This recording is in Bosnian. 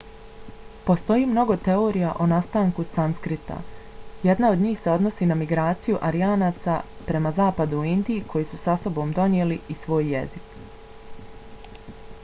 postoji mnogo teorija o nastanku sanskrita. jedna od njih se odnosi na migraciju aryanaca prema zapadu u indiju koji su sa sobom donijeli i svoj jezik